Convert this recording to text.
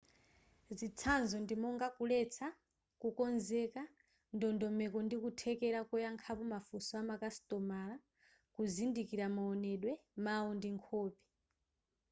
zitsanzo ndi monga kuletsa kukonzeka ndondomeko ndi kuthekera koyankhapo mafunso amakasitomala kuzindikira maonedwe mau ndi nkhope